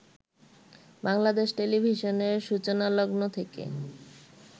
বাংলাদেশ টেলিভিশনের সূচনালগ্ন থেকে